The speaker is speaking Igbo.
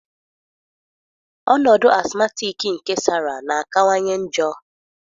Ọnọdụ asmatiki nke Sara na-akawanye njọ